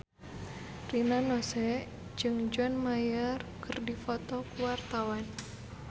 Rina Nose jeung John Mayer keur dipoto ku wartawan